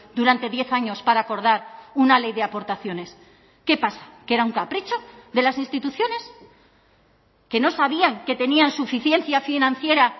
durante diez años para acordar una ley de aportaciones qué pasa que era un capricho de las instituciones que no sabían que tenían suficiencia financiera